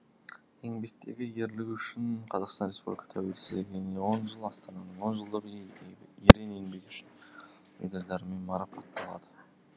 еңбектегі ерлігі үшін қазақстан республикасы тәуелсіздігіне он жыл астананың он жылдығы ерен еңбегі үшін медальдарымен марапатталған